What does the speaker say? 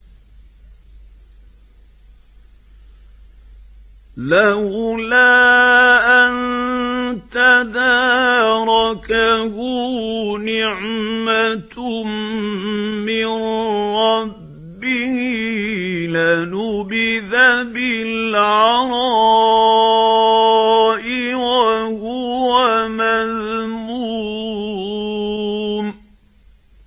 لَّوْلَا أَن تَدَارَكَهُ نِعْمَةٌ مِّن رَّبِّهِ لَنُبِذَ بِالْعَرَاءِ وَهُوَ مَذْمُومٌ